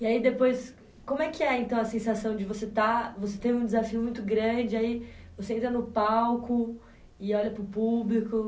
E aí depois, como é que é então a sensação de você estar, você ter um desafio muito grande, aí você entra no palco e olha para o público.